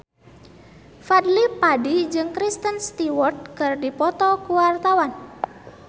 Fadly Padi jeung Kristen Stewart keur dipoto ku wartawan